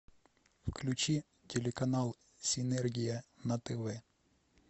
включи телеканал синергия на тв